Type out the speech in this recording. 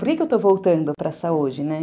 Por que eu estou voltando para a saúde, né?